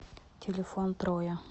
телефон троя